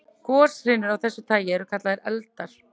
Goshrinur af þessu tagi eru kallaðar eldar.